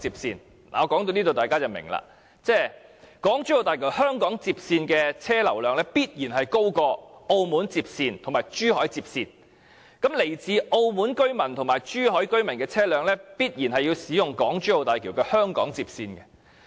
說到這一點，相信大家也明白，就是港珠澳大橋香港接線的車流量，必然會高於澳門接線和珠海接線，因為來自澳門和珠海居民的車輛，必定要使用港珠澳大橋香港接線的。